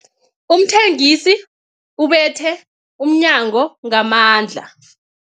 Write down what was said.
Umthengisi ubethe umnyango ngamandla.